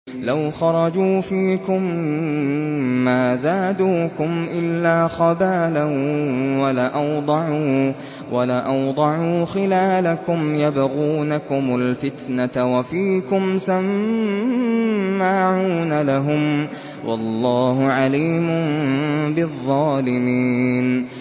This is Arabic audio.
لَوْ خَرَجُوا فِيكُم مَّا زَادُوكُمْ إِلَّا خَبَالًا وَلَأَوْضَعُوا خِلَالَكُمْ يَبْغُونَكُمُ الْفِتْنَةَ وَفِيكُمْ سَمَّاعُونَ لَهُمْ ۗ وَاللَّهُ عَلِيمٌ بِالظَّالِمِينَ